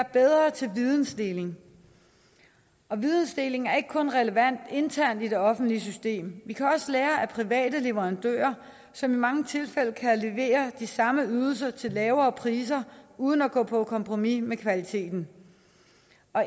bedre til vidensdeling og vidensdeling er ikke kun relevant internt i det offentlige system vi kan også lære af private leverandører som i mange tilfælde kan levere de samme ydelser til lavere priser uden at gå på kompromis med kvaliteten